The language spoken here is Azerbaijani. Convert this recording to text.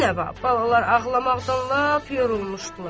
Binəva balalar ağlamaqdan lap yorulmuşdular.